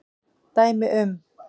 Dæmi um